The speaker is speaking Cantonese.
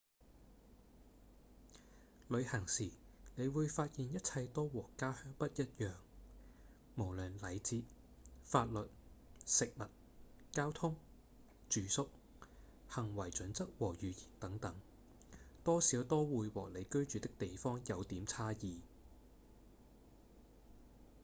旅行時你會發現一切都和「家鄉」不一樣無論禮節、法律、食物、交通、住宿、行為準則和語言等等多少都會和你居住的地方有點差異